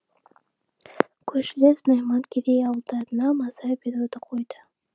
көршілес найман керей ауылдарына маза беруді қойды